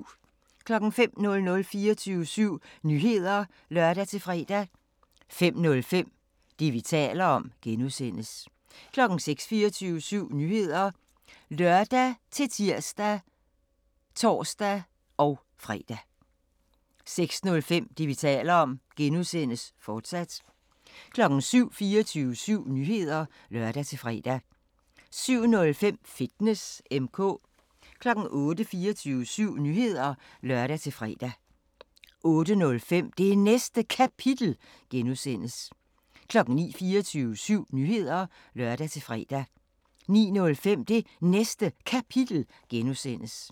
05:00: 24syv Nyheder (lør-fre) 05:05: Det, vi taler om (G) 06:00: 24syv Nyheder (lør-tir og tor-fre) 06:05: Det, vi taler om (G), fortsat 07:00: 24syv Nyheder (lør-fre) 07:05: Fitness M/K 08:00: 24syv Nyheder (lør-fre) 08:05: Det Næste Kapitel (G) 09:00: 24syv Nyheder (lør-fre) 09:05: Det Næste Kapitel (G)